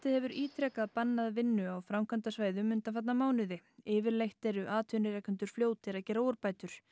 hefur ítrekað bannað vinnu á framkvæmdasvæðum undanfarna mánuði yfirleitt eru atvinnurekendur fljótir að gera úrbætur